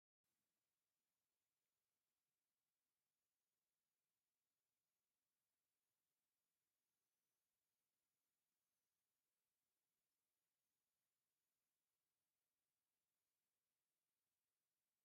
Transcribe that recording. አውይ ክንደይ የምሕረላ ዛ ሰበይቲ፣ ናይ ኢዳን ናይ ክሳዳን ቅርፂ ወርቂ ከምኡ ውን እቲ ክዳና ምስቲ ፅርይ ዝበለ ነብሳ ብሓቂ ይኸይድ አዩ፡፡